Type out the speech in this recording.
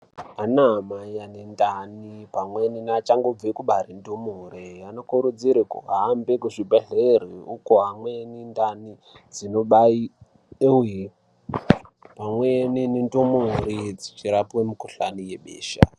Ana mai ane ndani pamweni ne achangobve kubare ndumure ano kurudzirwe kuhambe ku zvibhedhleri uko amweni ndani dzino bairirwe pamweni ne ndumure dzichi rapwe mu kuhlani yebesha.